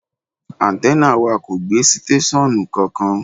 Áńtẹ́nà wà kò gbé sítéṣọ́ọ̀nù kankan.